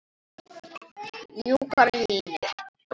Mjúkar línur.